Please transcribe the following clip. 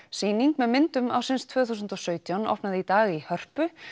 sýning með myndum ársins tvö þúsund og sautján opnaði í dag í Hörpu